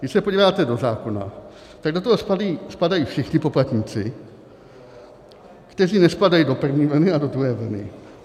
Když se podíváte do zákona, tak do toho spadají všichni poplatníci, kteří nespadají do první vlny a do druhé vlny.